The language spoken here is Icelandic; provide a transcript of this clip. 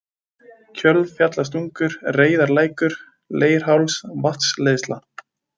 Kjölfjallstungur, Reyðarlækur, Leirháls, Vatnsleiðsla